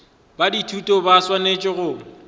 ba dithuto ba swanetše go